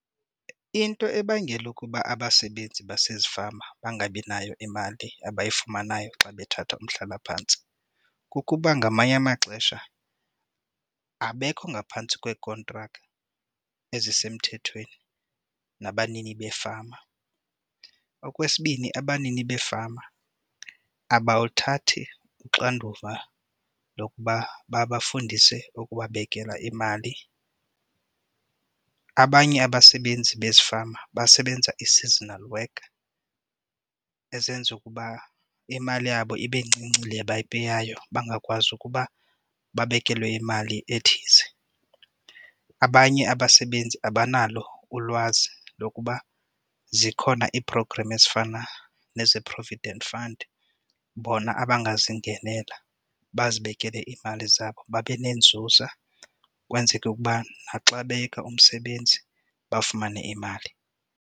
Into ebangela ukuba abasebenzi basezifama bangabinayo imali abayifumanayo xa bethatha umhlalaphantsi kukuba ngamanye amaxesha abekho ngaphantsi kwekhontrakthi ezisemthethweni nabanini beefama. Okwesibini, abanini beefama abathathi uxanduva lokuba babafundise ukubabekela imali. Abanye abasebenzi bezifama basebenza i-seasonal work ezenza ukuba imali yabo ibe ncinci le abayipeyayo bangakwazi ukuba babekelwe imali ethize. Abanye abasebenzi abanalo ulwazi lokuba zikhona ii-programs ezifana nezi provident fund bona abangazingenela bazibekele iimali zabo babe nenzuzo xa kwenzeke ukuba naxa beyeka umsebenzi bafumane imali.